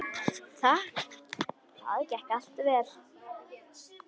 Það gekk allt vel.